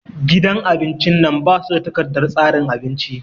Gidan abin cin nan ba su da takardar tsarin abinci